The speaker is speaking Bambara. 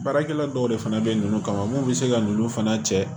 Baarakɛla dɔw de fana bɛ ninnu kama mun bɛ se ka ninnu fana cɛ